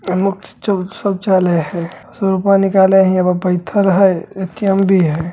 सब चले हेय रूपा निकाले ले हीया पर बैठल हेय ए.टी.एम. भी है।